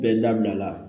Bɛɛ dabila la